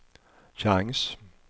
chans